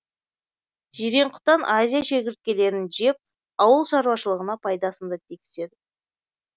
жирен құтан азия шегірткелерін жеп ауыл шаруашылығына пайдасын да тигізеді